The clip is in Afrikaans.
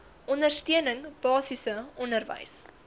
ondersteuning basiese onderwys